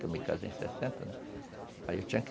Porque eu me casei em sessenta, né? Aí eu tinha